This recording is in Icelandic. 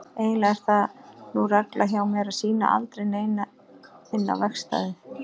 Eiginlega er það nú regla hjá mér að sýna aldrei neinum inn á verkstæðið.